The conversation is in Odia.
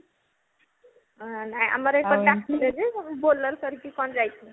ହଁ ନାଇଁ ଆମର ଏପଟେ ଡ଼ାକିଥିଲେ ଯେ bolero କରିକି କଣ ଯାଇଥିଲେ